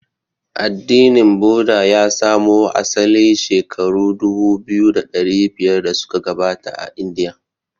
Addinin Buddha ya samo asali shekaru dubu biyu da dari biyar da suka gabata a Indiya.